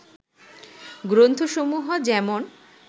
গ্রন্থসমূহ যেমন